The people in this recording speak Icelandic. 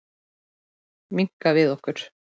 Minnka við okkur.